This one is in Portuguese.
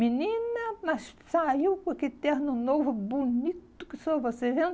Menina, mas saiu com aquele terno novo, bonito que sou, você vendo?